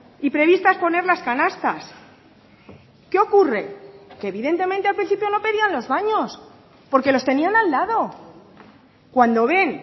y previstas poner las canastas qué ocurre que evidentemente al principio no pedían los baños porque los tenían al lado cuando ven